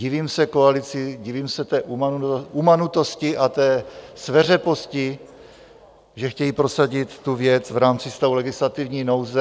Divím se koalici, divím se té umanutosti a té sveřeposti, že chtějí prosadit tu věc v rámci stavu legislativní nouze.